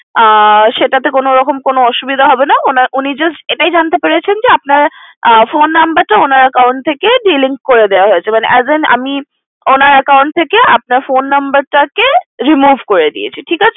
আহ সেটাতে কোনরকম কোনো অসুবিধা হবে না উনি just এটাই জানতে পেরেছেন যে উনার phone number টা উনার account থেকে delink করে দেওয়া হয়েছে মানে as an আমি উনার account থেকে আপনার phone number টা কে remove করে দিয়েছি ঠিক আছে